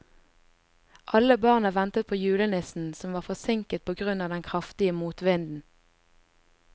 Alle barna ventet på julenissen, som var forsinket på grunn av den kraftige motvinden.